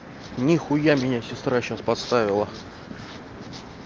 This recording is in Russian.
нихуя меня сестра сейчас поставила